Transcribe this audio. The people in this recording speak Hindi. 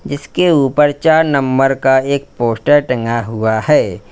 जिसके ऊपर चार नंबर का एक पोस्टर टंगा हुआ है।